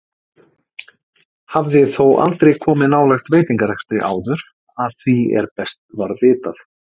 Hafði þó aldrei komið nálægt veitingarekstri áður að því er best var vitað.